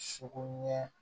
Sogo ɲɛ